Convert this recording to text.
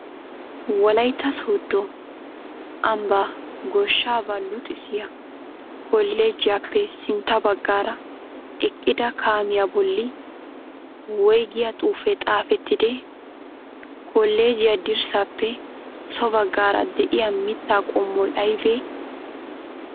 Wolayitta sooddo ambba goshshaabaa luxissiya kolleejjiyaappe sintta baggaara eqqida kaamiyaa bolli woyigiyaa xuufee xaafettidee? Kolleejjiyaa dirssaappe so baggaara de'iyaa mittaa qommoyi aybee?